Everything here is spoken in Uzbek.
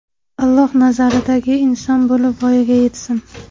Alloh nazaridagi inson bo‘lib voyaga yetsin!